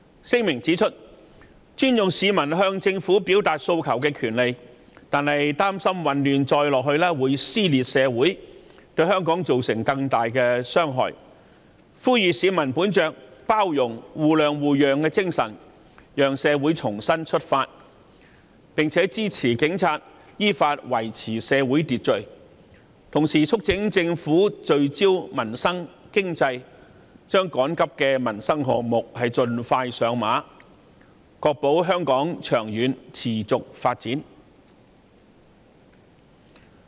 聲明指出，尊重市民向政府表達訴求的權利，但擔心混亂再下去會撕裂社會，對香港造成更大的傷害，呼籲市民本着包容、互諒互讓的精神，讓社會重新出發，並支持警察依法維持社會秩序；同時促請政府聚焦民生、經濟，將趕急的民生項目盡快上馬，確保香港長遠持續發展。